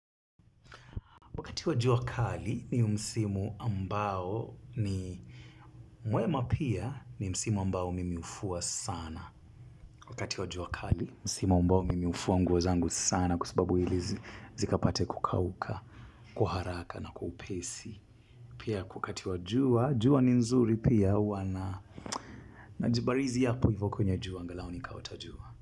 Wakati wa jua kali ni msimu ambao ni mwema pia ni msimu ambao mimi hufua sana. Wakati wa jua kali msimu ambao mimi hufua nguo zangu sana kwa sababu ili zikapate kukauka kwa haraka na kwa upesi. Pia wakati wa jua, jua ni nzuri pia huwa na. Najibarizi hapo hivyo kwenye jua angalau nikaota jua.